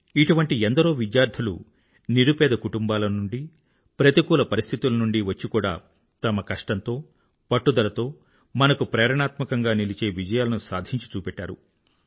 ఇటువంటి ఎందరో విద్యార్థులు నిరుపేద కుటుంబాల నుండి ప్రతికూల పరిస్థితుల నుండీ వచ్చి కూడా తమ కష్టంతో పట్టుదలతో మనకు ప్రేరణాత్మకంగా నిలిచే విజయాలను సాధించి చూపెట్టారు